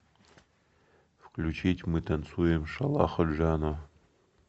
включить мы танцуем шалахо джано